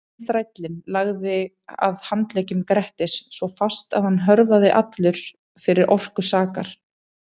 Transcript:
En þrællinn lagði að handleggjum Grettis svo fast að hann hörfaði allur fyrir orku sakar.